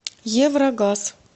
еврогаз